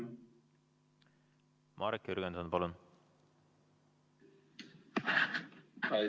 Marek Jürgenson, palun!